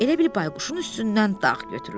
Elə bil Bayquşun üstündən dağ götürüldü.